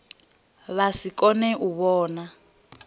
vha si kone u vhona